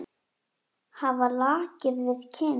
Hafa lakið við kinn.